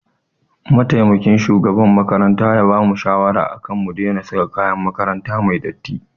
Mataimakin shugaban makaranta ya bamu shawara akan mu daina saka kayan makaranta datti.